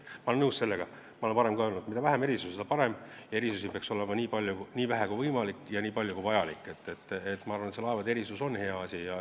Ma olen nõus sellega, ma olen seda varem ka öelnud, et mida vähem erandeid, seda parem, erandeid peaks olema nii vähe kui võimalik ja nii palju kui vajalik, ent ma arvan, et see laevade erand on hea asi.